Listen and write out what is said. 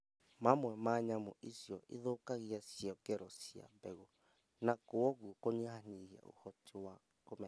Mamwe ma nyamũ icio ithũkangia ciongero cia mbegũ na kwoguo kũnyihanyihia ũhoti wa kũmera